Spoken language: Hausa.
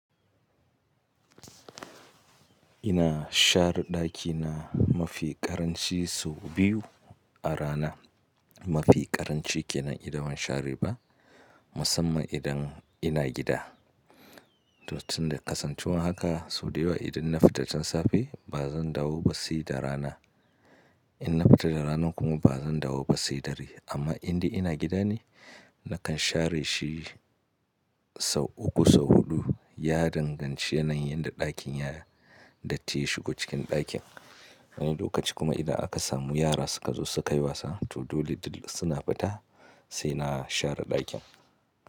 Ina share ɗakina mafi ƙaranci sau biyu a rana. Mafi ƙaranci ke nan idan ban share ba, musamman idan ina gida. To tun da kasancewar haka, sau da yawa idan na fita tun safe ba zan dawo ba sai da rana. In na fita da rana kuma ba zan dawo ba sai dare. Amma indai ina gida ne, nakan share shi sau uku sau huɗu. Ya danganci yanayin da ɗakin ya datti ya shigo cikin ɗakin. Wani lokaci kuma idan aka samu yara suka zo sukayi wasa, to dole dill suna fita sai na share ɗakin.